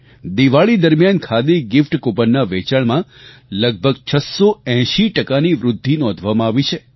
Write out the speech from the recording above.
દિવાળી દરમિયાન ખાદી ગિફ્ટ કૂપનનાં વેચાણમાં લગભગ 680 ટકાની વૃદ્ધિ નોંધવામાં આવી છે